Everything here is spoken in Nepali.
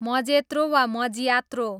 मजेत्रो वा मज्यात्रो